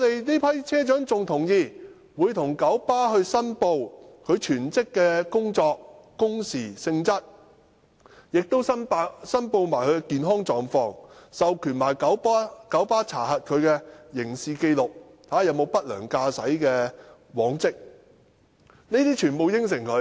這批車長亦同意向九巴申報其全職工作的工時和性質，亦會申報他們的健康狀況，更授權九巴查核他們的刑事紀錄，看看他們有否不良駕駛的往績。